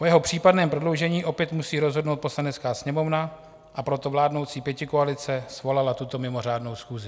O jeho případném prodloužení opět musí rozhodnout Poslanecká sněmovna, a proto vládnoucí pětikoalice svolala tuto mimořádnou schůzi.